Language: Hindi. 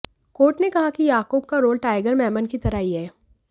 कोर्ट ने कहा कि याकूब का रोल टाइगर मेमन की तरह ही है